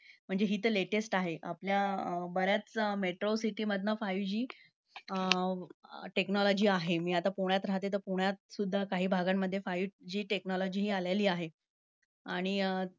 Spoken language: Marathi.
म्हणजे हि तर latest आहे. आपल्या बऱ्याच metrocity मधनं five G technology आहे. मी आता पुण्यात राहते तर, पुण्यात सुद्धा काही भागांमध्ये five G technology हि आलेली आहे. आणि अं